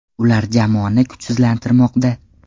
Ular jamoani kuchsizlantirmoqda.